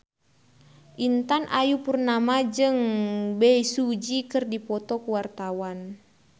Intan Ayu Purnama jeung Bae Su Ji keur dipoto ku wartawan